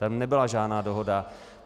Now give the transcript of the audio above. Tam nebyla žádná dohoda.